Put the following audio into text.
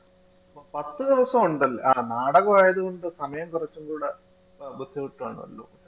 പത്ത് ദിവസം ഉണ്ടല്ലേ? ആ നാടകം ആയത് കൊണ്ട് സമയം കുറച്ചും കൂടെ ആ ബുദ്ധിമുട്ടാണല്ലോ